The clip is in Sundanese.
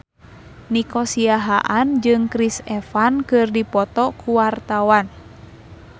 Nico Siahaan jeung Chris Evans keur dipoto ku wartawan